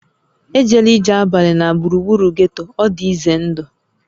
E jela ije abalị na gburugburu getto, ọ dị ize ndụ!